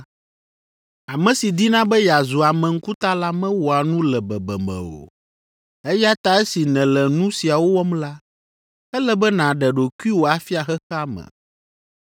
Ame si dina be yeazu ame ŋkuta la mewɔa nu le bebeme o, eya ta esi nèle nu siawo wɔm la, ele be nàɖe ɖokuiwò afia xexea me.”